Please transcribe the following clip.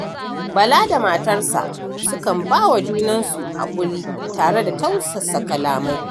Bala da matarsa sukan ba wa junansu haƙuri tare da tausasa kalamai.